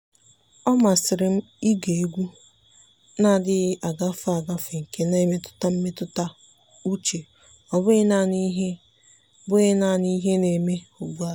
ọ́ màsị́rị́ m ị́gè égwu nà-adị́ghị́ ágafe ágafe nke nà-èmètụ́tà mmètụ́ta úchè ọ́ bụ́ghị́ nāànị́ ìhè bụ́ghị́ nāànị́ ìhè nà-èmé ugbu a.